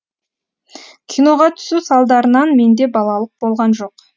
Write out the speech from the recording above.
киноға түсу салдарынан менде балалық болған жоқ